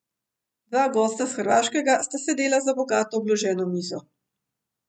Dva gosta s Hrvaškega sta sedela za bogato obloženo mizo.